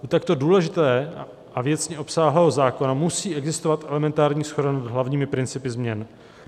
U takto důležitého a věcně obsáhlého zákona musí existovat elementární shoda nad hlavními principy změn.